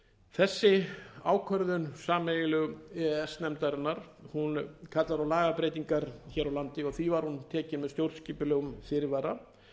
þessi ákvörðun sameiginlegu e e s nefndarinnar kallar á lagabreytingar hér á landi og því var hún tekin með stjórnskipulegum fyrirvara